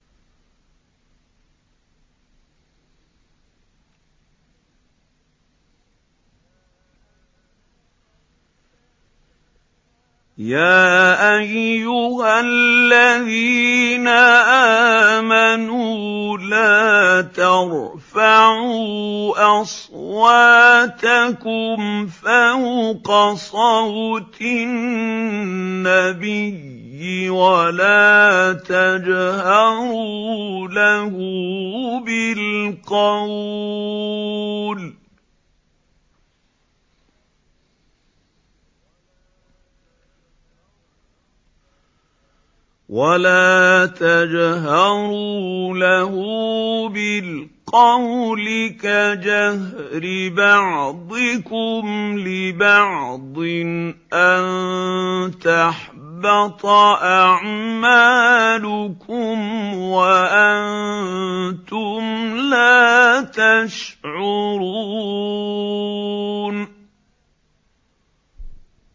يَا أَيُّهَا الَّذِينَ آمَنُوا لَا تَرْفَعُوا أَصْوَاتَكُمْ فَوْقَ صَوْتِ النَّبِيِّ وَلَا تَجْهَرُوا لَهُ بِالْقَوْلِ كَجَهْرِ بَعْضِكُمْ لِبَعْضٍ أَن تَحْبَطَ أَعْمَالُكُمْ وَأَنتُمْ لَا تَشْعُرُونَ